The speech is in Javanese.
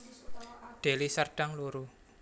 Deli Serdang loro